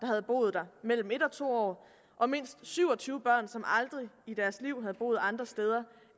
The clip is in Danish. havde boet der mellem en og to år og mindst syv og tyve børn som aldrig i deres liv havde boet andre steder